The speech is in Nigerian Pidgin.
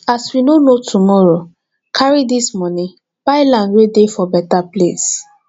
as we no know tomorrow carry dis moni buy land wey dey for beta place